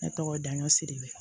Ne tɔgɔ daɲɔ siri